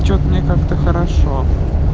что-то мне как-то хорошо